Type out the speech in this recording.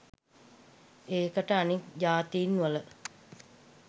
ඒකට අනෙක් ජාතීන්වල